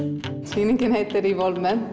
sýningin heitir